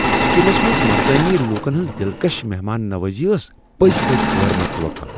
Succumbs منٛز مقٲمی لوکن ہنٛز دلکش مہمان نوازی ٲس پٔزۍ پٲٹھۍ غٲر متوقع۔